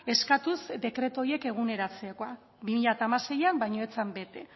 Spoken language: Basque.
eskatuz dekretu horiek eguneratzekoa bi mila hamaseian baina ez zen bete